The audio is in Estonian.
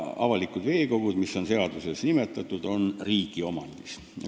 Avalikud veekogud, mis on seaduses nimetatud, on riigiomandis.